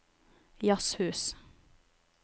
jazzhus